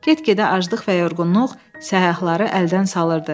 Get-gedə aclıq və yorğunluq səyyahları əldən salırdı.